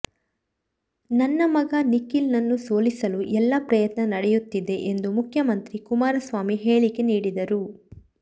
ನನ್ನ ಮಗ ನಿಖಿಲ್ ನನ್ನು ಸೋಲಿಸಲು ಎಲ್ಲಾ ಪ್ರಯತ್ನ ನಡೆಯುತ್ತಿದೆ ಎಂದು ಮುಖ್ಯಮಂತ್ರಿ ಕುಮಾರಸ್ವಾಮಿ ಹೇಳಿಕೆ ನೀಡಿದರು